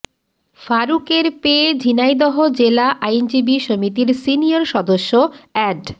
ফারুকের পে ঝিনাইদহ জেলা আইনজীবী সমিতির সিনিয়র সদস্য অ্যাড